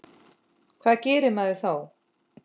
Hvað gerir maður þá?